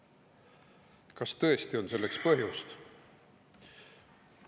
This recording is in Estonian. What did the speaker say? Kas tõesti on selleks põhjust?